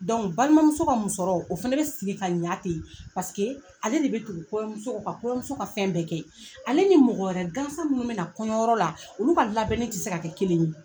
balimamuso ka musɔrɔ o fɛnɛ be siri k'a ɲa ten paseke ale de be tugu kɔɲɔmuso kɔ ka kɔɲɔmuso ka fɛn bɛɛ kɛ ale ni mɔgɔ wɛrɛ gansan minnu mɛna kɔɲɔyɔrɔ la olu ka labɛnni ti se ka kɛ kelen ye.